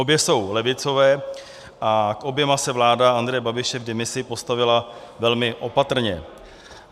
Obě jsou levicové a k oběma se vláda Andreje Babiše v demisi postavila velmi opatrně.